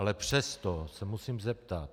Ale přesto se musím zeptat.